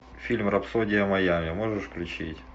фильм рапсодия майами можешь включить